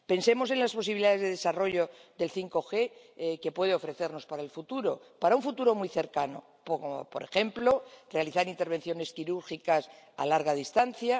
Pensemos en las posibilidades de desarrollo del 5G que puede ofrecernos para el futuro —para un futuro muy cercano— como, por ejemplo realizar intervenciones quirúrgicas a larga distancia